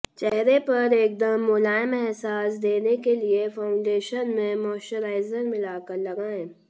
चेहरे पर एकदम मुलायम अहसास देने के लिए फाउंडेशन में मॉइश्चराइजर मिला कर लगाएं